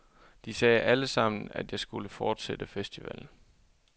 De sagde allesammen, at jeg skulle fortsætte festivalen.